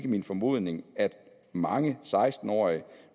min formodning at mange seksten årige